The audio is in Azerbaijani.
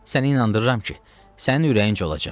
Səni inandırıram ki, sənin ürəyincə olacaq.